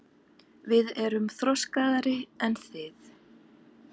Við erum þroskaðri en þið.